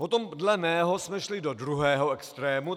Potom dle mého jsme šli do druhého extrému.